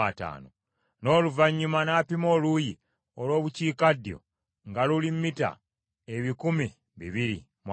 N’oluvannyuma n’apima oluuyi olw’Obukiikaddyo nga luli mita ebikumi bibiri mu ataano.